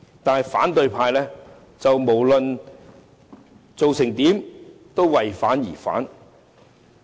但是，無論政府做得怎樣，反對派也為反而反。